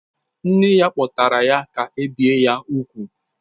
Nne ya kpọtara ha ka e bie ha úgwù